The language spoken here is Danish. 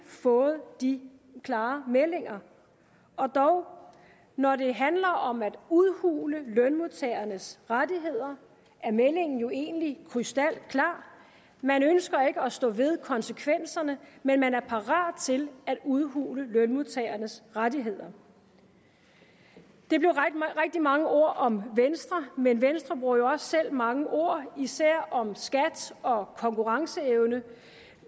fået de klare meldinger og dog når det handler om at udhule lønmodtagernes rettigheder er meldingen jo egentlig krystalklar man ønsker ikke at stå ved konsekvenserne men man er parat til at udhule lønmodtagernes rettigheder det blev rigtig mange ord om venstre men venstre bruger jo også selv mange ord især om skat og konkurrenceevne